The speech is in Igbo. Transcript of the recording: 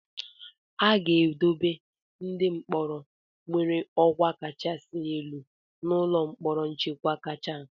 A ga-edobe ndị mkpọrọ nwere ọkwa kachasị elu n'ụlọ mkpọrọ nchekwa kacha.